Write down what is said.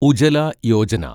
Ujjwala Yojana